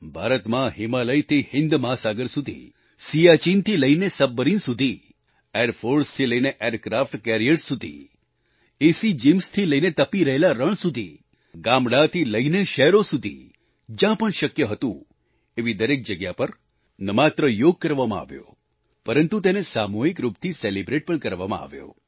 ભારતમાં હિમાલયથી હિન્દ મહાસાગર સુધી સિયાચીનથી લઈને સબમરીન સુધી એરફોર્સથી લઈને એરક્રાફ્ટ કેરિયર્સ સુધી એસી gymsથી લઈને તપી રહેલા રણ સુધી ગામડાંથી લઈને શહેરો સુધી જ્યાં પણ શક્ય હતું એવી દરેક જગ્યા પર ન માત્ર યોગ કરવામાં આવ્યો પરંતુ તેને સામૂહિક રૂપથી સેલિબ્રેટ પણ કરવામા આવ્યો